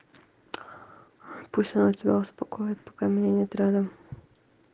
пусть она себя успокоить пока меня нет рядом